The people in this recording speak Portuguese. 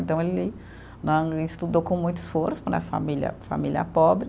Então ele né, estudou com muito esforço, na família, família pobre.